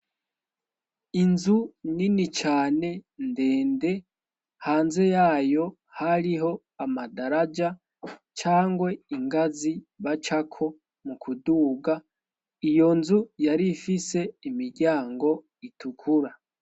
Inzu nini cane ndende hanze yayo hariho amadaraja cyangwe ingazi bacako mu kuduga iyo nzu yari ifise imiryango itukura.